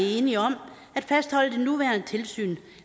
enige om at fastholde det nuværende tilsyn